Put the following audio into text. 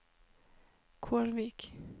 Kårvik